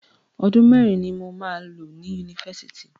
Ọdún mẹ́rin ni mo máa lo ní Yunifásitì.